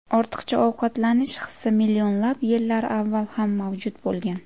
Ortiqcha ovqatlanish hisi millionlab yillar avval ham mavjud bo‘lgan.